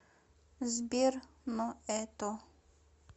сбер но это